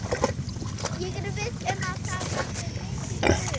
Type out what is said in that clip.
Ég er viss um að það verður mikið stuð.